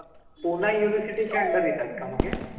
Pune university च्या under येतात का मग हे